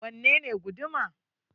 Wanne ne guduma?